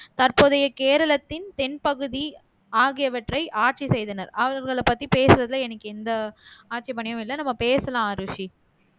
மற்றும் தற்போதைய கேரளத்தின் தென்பகுதி ஆகியவற்றை ஆட்சி செய்தனர் அவர்களை பத்தி பேசுறதுல எனக்கு எந்த ஆட்சேபனையும் இல்ல நம்ம பேசலாம் அரூசி